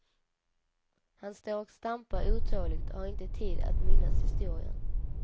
Han står och stampar otåligt och har inte tid att minnas historien.